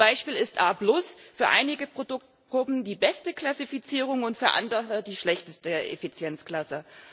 Zum Beispiel ist A für einige Produktgruppen die beste Klassifizierung und für andere die schlechteste Effizienzklasse.